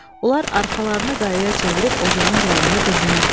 Onlar arxalarını qayaya çevirib ocağın qırağında qızınırdılar.